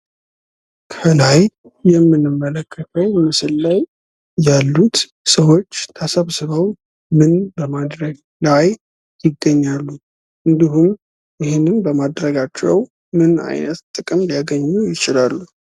ከላይ የምንመለከተው ምስል ላይ ያሉት ሰዎች ተሰብስበው ምን በማድረግ ላይ ይገኛሉ። እንዲሁም ይህ በማድረጋቸው ምን አይነት ጥቅም ሊያገኙ ይችላሉ።